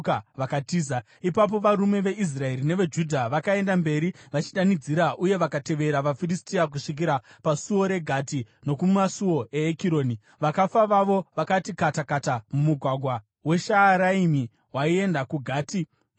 Ipapo varume veIsraeri neveJudha vakaenda mberi vachidanidzira uye vakatevera vaFiristia kusvikira pasuo reGati nokumasuo eEkironi. Vakafa vavo vakati kata kata mumugwagwa weShaaraimi waienda kuGati nokuEkironi.